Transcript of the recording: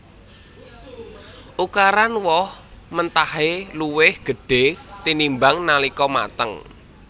Ukuran woh mentahé luwih gedhé tinimbang nalika mateng